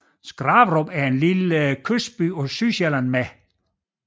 Skraverup er en lille kystby på Sydsjælland med